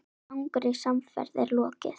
Langri samferð er lokið.